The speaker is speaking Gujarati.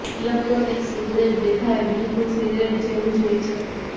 ઇલેક્ટ્રોનિક સિગરેટ દેખાવે બિલકૂલ સિગરેટ જેવી જ હોય છે